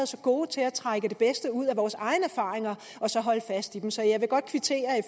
så gode til at trække det bedste ud af vores egne erfaringer og så holde fast i dem så jeg vil godt kvittere